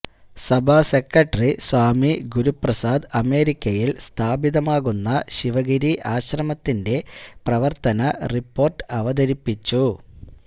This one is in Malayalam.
സഭാ സെക്രട്ടറി സ്വാമി ഗുരുപ്രസാദ് അമേരിക്കയിൽ സ്ഥാപിതമാകുന്ന ശിവഗിരി ആശ്രമത്തിൻെറ പ്രവർത്തന റിപ്പോർട്ട് അവതരിപ്പിച്ചു